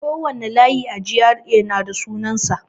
Kowane layi a GRA na da sunansa.